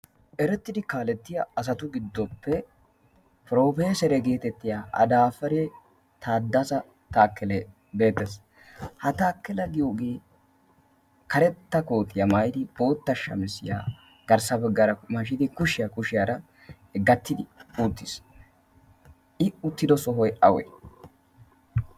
erettidi kaalettiya asatu giddoppe profeesere geetettiya adaafare taaddasa taakkele beettaes ha taakkela giyoogee karetta kootiyaa maayidi bootta shamisiyaa garssa baggaara mashidi kushiyaa kushiyaara gattidi uttiis i uttido sohoy awe?